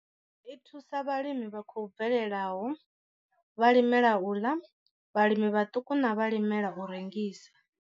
I thusa vhalimi vha khou bvelelaho, vhalimela u ḽa, vhalimi vhaṱuku na vhalimela u rengisa.